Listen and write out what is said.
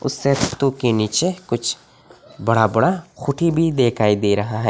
के नीचे कुछ बड़ा बड़ा खूंटी भी दिखाई दे रहा है।